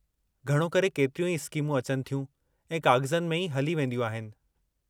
घणो करे, केतिरियूं ई स्कीमूं अचनि थियूं ऐं काग़ज़नि में ई हली वेदियूं आहिनि।